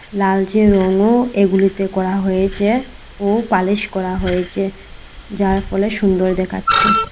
লালচে রঙও এগুলিতে করা হয়েছে ও পালিশ করা হয়েছে যার ফলে সুন্দর দেখাচ্ছে।